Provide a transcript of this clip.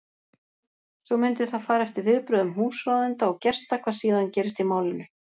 Svo mundi það fara eftir viðbrögðum húsráðenda og gesta hvað síðan gerist í málinu.